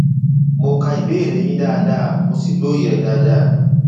mo ka ìbéèrè yín dáadáa mo sì lóye rẹ dáadáa